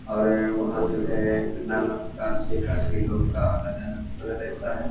अरे वहाँ जो है ना ना प्रकार से काफी लोग का आना जाना रहता है।